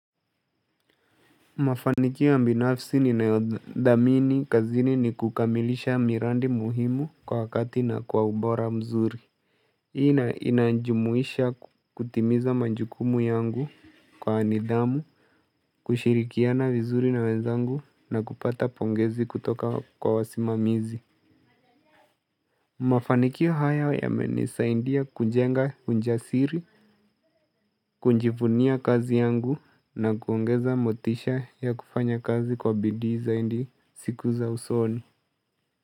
Mafanikio ambinafsi ni naodamini kazini ni kukamilisha mirandi muhimu kwa wakati na kwa ubora mzuri ina inajumuisha kutimiza majukumu yangu kwa nidhamu, kushirikiana vizuri na wenzangu, na kupata pongezi kutoka kwa wasimamizi Mafanikio haya yamenisaindia kunjenga ujasiri, kunjivunia kazi yangu na kuongeza motisha ya kufanya kazi kwa bidii zaindi siku za usoni.